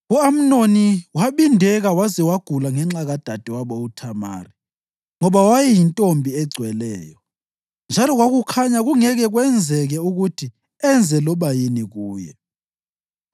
U-Amnoni wabindeka waze wagula ngenxa kadadewabo uThamari, ngoba wayeyintombi egcweleyo, njalo kwakukhanya kungeke kwenzeke ukuthi enze loba yini kuye.